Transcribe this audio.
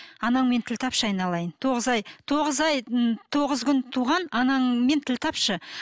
анаңмен тіл тапшы айналайын тоғыз ай тоғыз ай ы тоғыз күн туған анаңмен тіл тапшы